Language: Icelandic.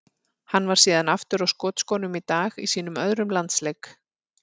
Hann var síðan aftur á skotskónum í dag í sínum öðrum landsleik.